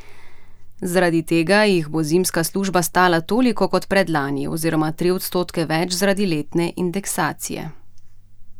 Zaradi tega jih bo zimska služba stala toliko kot predlani oziroma tri odstotke več zaradi letne indeksacije.